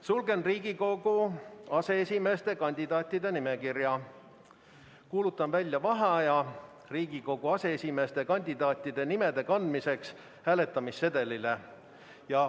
Sulgen Riigikogu aseesimeeste kandidaatide nimekirja ja kuulutan välja vaheaja Riigikogu aseesimeeste kandidaatide nimede kandmiseks hääletamissedelile.